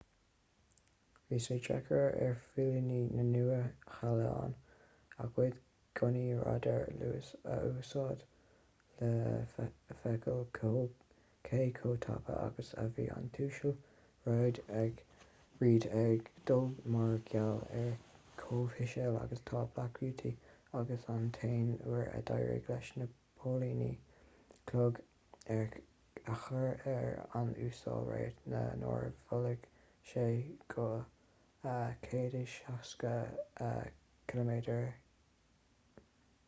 bhí sé deacair ar phóilíní na nua-shéalainne a gcuid gunnaí radair luais a úsáid le feiceáil cé chomh tapa agus a bhí an tuasal reid ag dul mar gheall ar chomh híseal agus atá black beauty agus an t-aon uair a d’éirigh leis na póilíní clog a chur ar an uasal reid ná nuair a mhoilligh sé go 160km/u